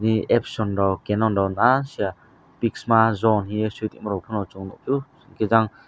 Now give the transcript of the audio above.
ni apction rok cannon rok ahh sia pixma zone haie sui chung nugfio taijang.